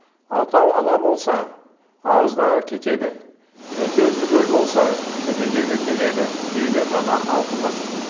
алтау ала болса ауыздағы кетеді төртеу түгел болса төбедегі келеді дейді дана халқымыз